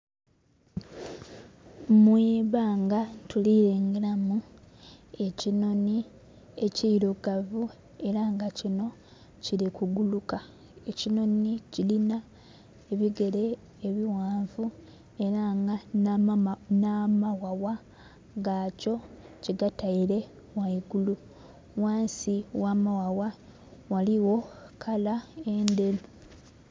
Mwibbanga tulirengeramu ekinhonhi ekirugavu era nga kinho Kiri kuguluka, ekinhonhi kirinha ebigere ebighanvu era nga nhamaghagha gakyo kigataire ghangulu ghansi ogha maghagha ghaligho kala endheru.